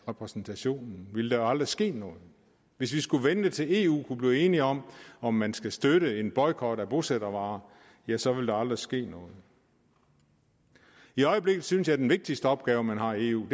repræsentationen ville der aldrig ske noget hvis vi skulle vente til eu kunne blive enige om om man skal støtte en boykot af bosættervarer ja så ville der aldrig ske noget i øjeblikket synes jeg at den vigtigste opgave man har i eu